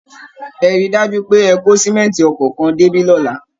Ẹ rí i dájú pé ẹ kó símẹ̀ǹtì ọkọ̀ kan débí lọ́la